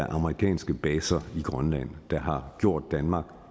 amerikanske baser i grønland der har gjort danmark